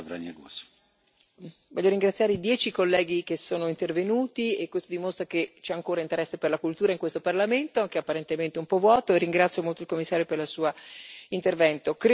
Signor Presidente, onorevoli colleghi, voglio ringraziare i dieci colleghi che sono intervenuti, e questo dimostra che c'è ancora interesse per la cultura in questo Parlamento, che apparentemente è un po' vuoto, e ringrazio molto il Commissario per il suo intervento.